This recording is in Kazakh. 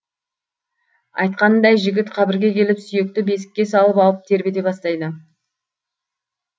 айтқанындай жігіт қабірге келіп сүйекті бесікке салып алып тербете бастайды